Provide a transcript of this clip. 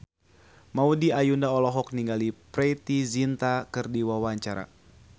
Maudy Ayunda olohok ningali Preity Zinta keur diwawancara